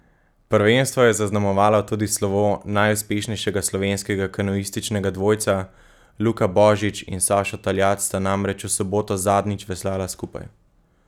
Prvenstvo je zaznamovalo tudi slovo najuspešnejšega slovenskega kanuističnega dvojca, Luka Božič in Sašo Taljat sta namreč v soboto zadnjič veslala skupaj.